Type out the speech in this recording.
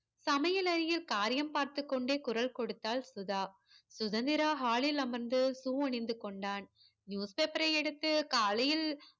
சமையல் அறையில் காரியம் பார்த்து கொண்டே குரல் கொடுத்தாள் சுதா சுதந்திரா hall ல் அமர்ந்து shoe அணிந்து கொண்டான் newspaper யை எடுத்து காலையில்